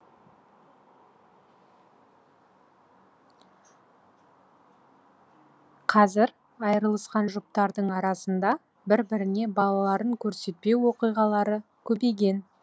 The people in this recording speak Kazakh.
қазір айырылысқан жұптардың арасында бір біріне балаларын көрсетпеу оқиғалары көбейген